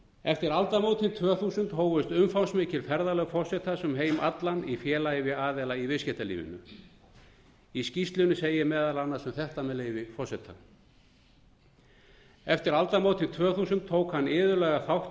eftir aldamótin tvö þúsund hófust umfangsmikil ferðalög forsetans um heim allan í félagi við aðila í viðskiptalífinu í skýrslunni segir meðal annars um þetta með leyfi forseta eftir aldamótin tvö þúsund tók hann iðulega þátt